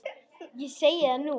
Ég segi það nú!